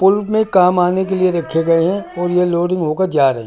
पुल में काम आने के लिए रखे गए हैं और ये लोडिंग होकर जा रही --